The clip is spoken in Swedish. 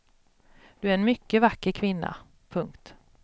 Du är en mycket vacker kvinna. punkt